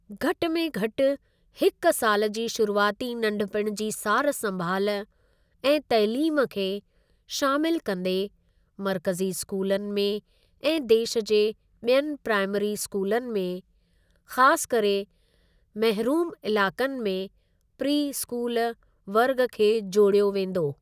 घटि में घटि हिकु सालि जी शुरूआती नंढपिण जी सारु संभाल ऐं तइलीम खे शामिल कंदे मर्कज़ी स्कूलनि में ऐं देश जे ॿियनि प्राईमरी स्कूलनि में, ख़ासि करे महरूम इलाक़नि में प्री स्कूल वर्ग खे जोड़ियो वेंदो।